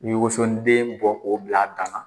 I bɛ woso den bɔ k'o bila a dama.